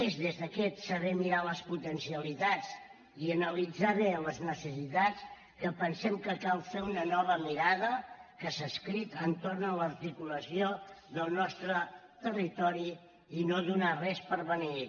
és des d’aquest saber mirar les potencialitats i analitzar bé les necessitats que pensem que cal fer una nova mirada que s’ha escrit entorn de l’articulació del nostre territori i no donar res per beneït